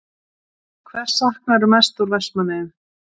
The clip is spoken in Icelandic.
Hvers saknarðu mest úr Vestmannaeyjum?